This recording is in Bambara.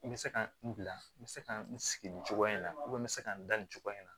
N bɛ se ka n bila n bɛ se ka n sigi nin cogoya in na n bɛ se ka n da nin cogoya in na